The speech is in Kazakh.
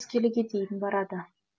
келіге дейін барады